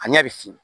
A ɲɛ bɛ fin